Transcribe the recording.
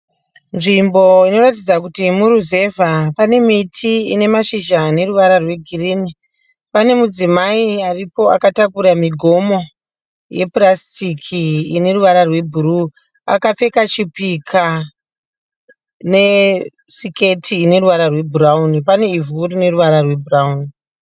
Nzimbo inoratidza kuti muruzevha pane miti ine mashizha ane ruvara rwegirini pane mudzimai aripo akatakura migomo yepurasitiki ineruvara rwebhuruu akapfeka chipika nesiketi ine ruvara rwebhurauni pane ivhu rine ruvara rwebhurauni